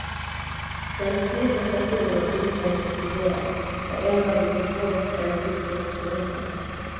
Bland de fjorton personer utredningen studerat har elva begått brott eller misstänkts för detta.